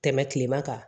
Tɛmɛ kilema kan